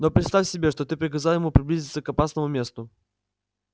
но представь себе что ты приказал ему приблизиться к опасному месту